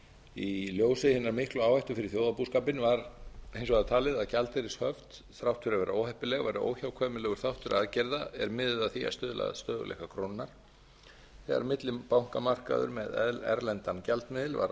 í ljósi hinnar miklu áhættu fyrir þjóðarbúskapinn var hins vegar talið að gjaldeyrishöft þrátt fyrir að vera óheppileg væru óhjákvæmilegur þáttur aðgerða er miðuðu að því að stuðla að stöðugleika krónunnar þegar millibankamarkaður með erlendan gjaldmiðil var